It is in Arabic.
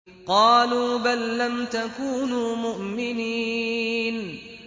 قَالُوا بَل لَّمْ تَكُونُوا مُؤْمِنِينَ